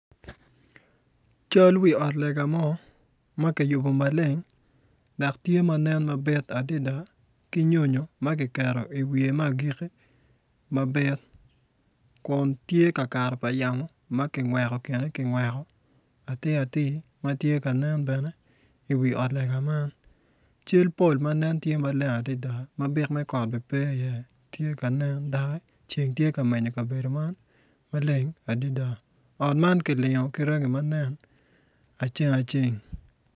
Cal wiot lega mo ma kiyubo maleng dok tye ma nen mabit adada ki nyonyo ma kiketo i iwiye me agiki mabit kun tye ka kato pa yamo ma kingweko kine kingweko atir atir matye ka nen bene i wi ot lega cal pol manen tye maleng adada ma byek me kot bene pe i iye tye kanen doki ceng tye ka menyo kabedo man maleng ot ma kilingo ki rangi ma nen aceng aceng